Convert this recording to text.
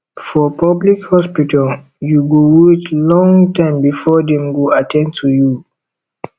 for public hospital you go wait long time before dem go at ten d to you